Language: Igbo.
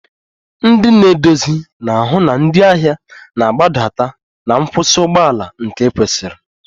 Ndị na-eduzi na-ahụ na ndị ahịa na-agbadata na nkwụsị ụgbọ ala nke kwesiri